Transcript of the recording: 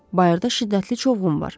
Bayırda şiddətli çovğun var.